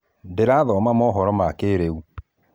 ndĩrathoma mohoro ma kĩĩrĩu